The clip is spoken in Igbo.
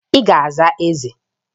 Ị ga-aza Eze!